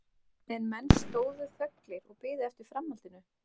En menn stóðu þöglir og biðu eftir framhaldinu.